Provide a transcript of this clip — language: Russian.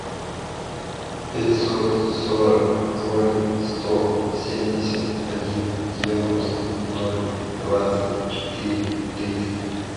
пятьсот сорок ноль сто семьдесят один девяносто ноль двадцать четыре триста